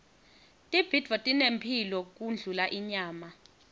tibhidvo tinemphilo kundlula inyama